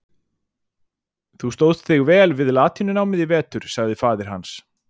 Þú stóðst þig vel við latínunámið í vetur, sagði faðir hans.